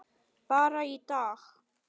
Bara í dag.